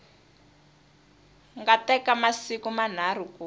nga teka masiku manharhu ku